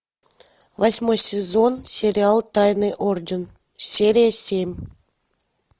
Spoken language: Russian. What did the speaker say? восьмой сезон сериал тайный орден серия семь